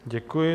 Děkuji.